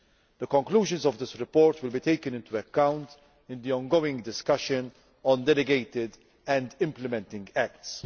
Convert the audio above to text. The conclusions of that report will be taken into account in the ongoing discussion on delegated and implementing acts.